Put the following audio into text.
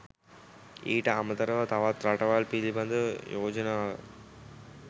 ඊට අමතරව තවත් රටවල් පිළිබඳව යෝජනාව